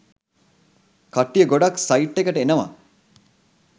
කට්ටිය ගොඩක් සයිට් එකට එනවා.